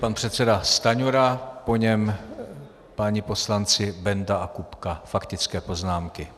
Pan předseda Stanjura, po něm páni poslanci Benda a Kupka - faktické poznámky.